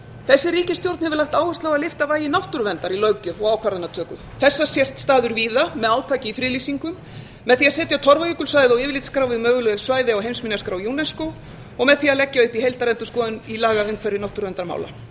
þessi ríkisstjórn hefur lagt áherslu á að lyfta vægi náttúruverndar í löggjöf og ákvarðanatöku þessa sést staður víða með átaki í friðlýsingum með því að setja torfajökulssvæðið á yfirlitsskrá yfir möguleg svæði á heimsminjaskrá unesco og með því að leggja upp í heildarendurskoðun í lagaumhverfi náttúruverndarmála ég